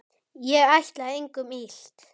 Ég ætlaði engum illt.